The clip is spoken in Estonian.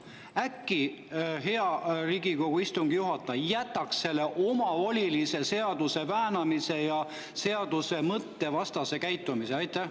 Äkki, hea Riigikogu istungi juhataja, jätaks selle seaduse omavolilise väänamise ja seaduse mõtte vastase käitumise?